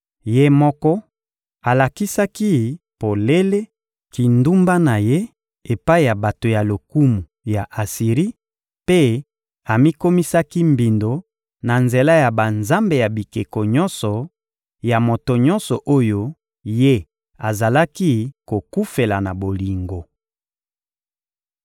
Ye moko alakisaki polele kindumba na ye epai ya bato ya lokumu ya Asiri mpe amikomisaki mbindo na nzela ya banzambe ya bikeko nyonso, ya moto nyonso oyo ye azalaki kokufela na bolingo.